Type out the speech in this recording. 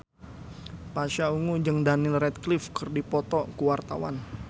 Pasha Ungu jeung Daniel Radcliffe keur dipoto ku wartawan